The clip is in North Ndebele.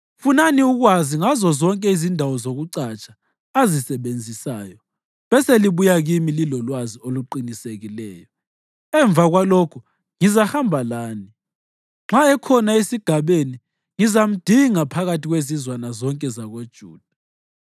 Funani ukwazi ngazozonke izindawo zokucatsha azisebenzisayo beselibuya kimi lilolwazi oluqinisekileyo. Emva kwalokho ngizahamba lani; nxa ekhona esigabeni, ngizamdinga phakathi kwezizwana zonke zakoJuda.”